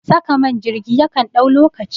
Saka man jirgi yakan ɗau lokaci